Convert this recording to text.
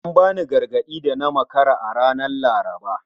An bani gargadi da na makara ranar Laraba